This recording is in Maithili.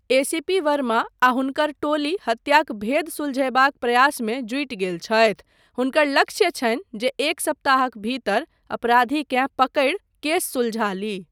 एसीपी वर्मा आ हुनकर टोली हत्याक भेद सुलझयबाक प्रयासमे जुटि गेल छथि, हुनकर लक्ष्य छनि जे एक सप्ताहक भीतर अपराधीकेँ पकड़ि केस सुलझा ली।